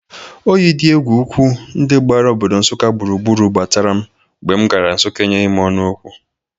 Oyi dị egwu ugwu ndị gbara obodo Nsụka gburugburu gbatara m mgbe m gara Nsụka enyeghi ọnụ Ọkwọ.